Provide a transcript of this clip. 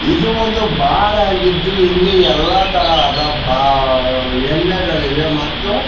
ಇದು ಒಂದು ಬಾರ್ ಆಗಿದ್ದು ಇಲ್ಲಿ ಎಲ್ಲಾ ತರಹದ ಬಾ ಎಣ್ಣೆಗಳಿವೆ ಮತ್ತು--